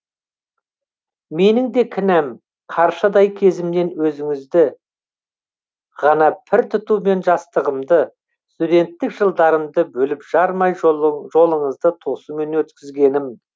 менің де кінәм қаршадай кезімнен өзіңізді ғана пір тұтумен жастығымды студенттік жылдарымды бөліп жармай жолыңызды тосумен өткізгенім